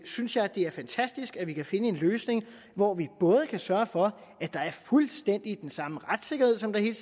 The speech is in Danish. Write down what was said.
synes jeg at det er fantastisk at vi kan finde en løsning hvor vi både kan sørge for at der er fuldstændig den samme retssikkerhed som der hele